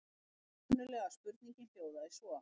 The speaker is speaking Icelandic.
Upprunalega spurningin hljóðaði svo: